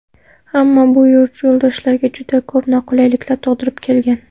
Ammo bu yurtdoshlarga juda ko‘p noqulayliklar tug‘dirib kelgan.